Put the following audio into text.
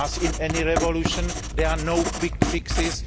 As in any revolution there are no quick fixes